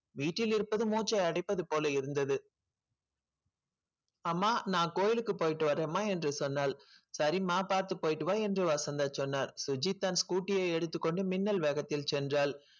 வீட்டில் இருப்பது மூச்சை அடைப்பது போல இருந்தது அம்மா நான் கோயிலுக்கு போயிட்டு வரேம்மா என்று சொன்னாள் சரிம்மா பார்த்து போயிட்டு வா என்று வசந்தா சொன்னார் சுஜிதா scooty ஐ எடுத்துக் கொண்டு மின்னல் வேகத்தில் சென்றாள்